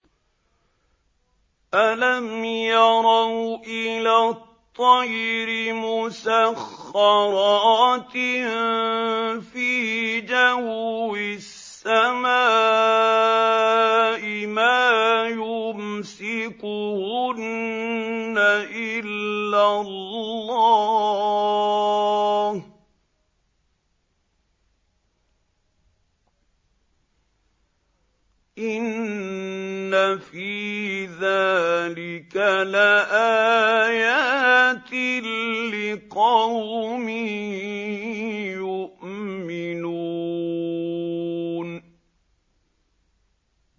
أَلَمْ يَرَوْا إِلَى الطَّيْرِ مُسَخَّرَاتٍ فِي جَوِّ السَّمَاءِ مَا يُمْسِكُهُنَّ إِلَّا اللَّهُ ۗ إِنَّ فِي ذَٰلِكَ لَآيَاتٍ لِّقَوْمٍ يُؤْمِنُونَ